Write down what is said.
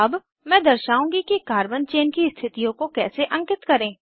अब मैं दर्शाउंगी कि कार्बन चेन की स्थितियों को कैसे अंकित करें